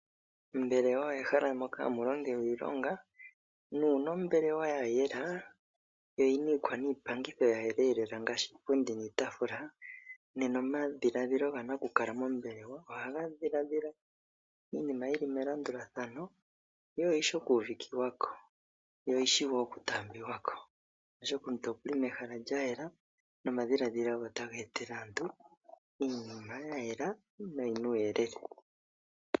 Ombelewa omehala moka hamu longelwa iilonga. Uuna ombelewa ya yela yo oyi na iikwaniipangitho ya yela nawa ngaashi iipundi niitaafula, nena omadhiladhilo ga nakukala mombelewa ohaga dhiladhila iinima yi li melandulathano yo oyi shi okuuvikiwa ko yo oyi shi wo okutaambiwa ko, oshoka omuntu oku li mehala lya yela nomadhiladhilo ge otaga etele aantu iinima ya yela noyi na uuyelele.